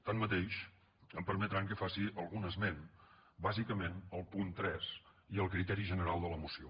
tanmateix em permetran que faci algun esment bàsicament al punt tres i al criteri general de la moció